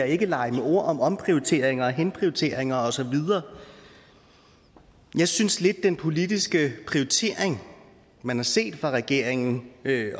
ikke lege med ord om omprioriteringer henprioriteringer og så videre jeg synes lidt at den politiske prioritering man har set fra regeringen